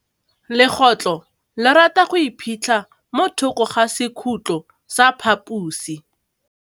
Legôtlô le rata go iphitlha mo thokô ga sekhutlo sa phaposi.